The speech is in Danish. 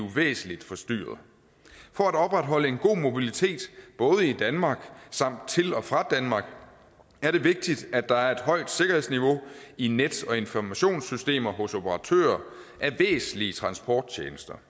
væsentlig forstyrret for at opretholde en god mobilitet både i danmark samt til og fra danmark er det vigtigt at der er et højt sikkerhedsniveau i net og informationssystemer hos operatører af væsentlige transporttjenester